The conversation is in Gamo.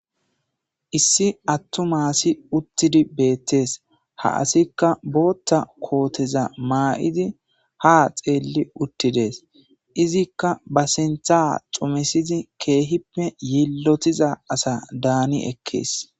Issi attu m aasi uttidi beettees ha asikka bootta kooteza maa'idi ha xeelli uttides izikka ba sintha xumesizi keehippe yillotiza asa daani ekkees.